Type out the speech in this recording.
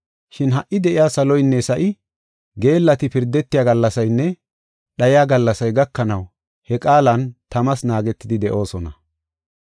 Shin ha77i de7iya saloynne sa7i, geellati pirdetiya gallasaynne dhayiya gallasay gakanaw he qaalan tamas naagetidi de7oosona.